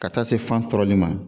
Ka taa se fan tɔrɔli ma.